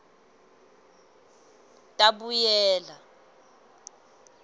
tabuyela